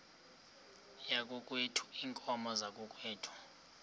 yakokwethu iinkomo zakokwethu